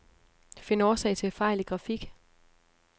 Find årsag til fejl i grafik.